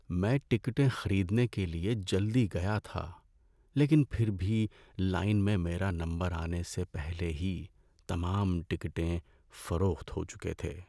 میں ٹکٹیں خریدنے کے لیے جلدی گیا تھا لیکن پھر بھی لائن میں میرا نمبر آنے سے پہلے ہی تمام ٹکٹیں فروخت ہو چکے تھے۔